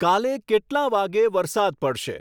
કાલે કેટલાં વાગ્યે વરસાદ પડશે